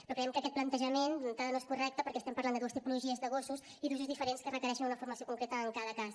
però creiem que aquest plantejament d’entrada no és correcte perquè estem parlant de dues tipologies de gossos i d’usos diferents que requereixen una formació concreta en cada cas